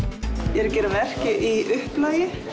ég er að gera verk í upplagi